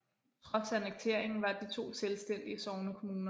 Trods annekteringen var de to selvstændige sognekommuner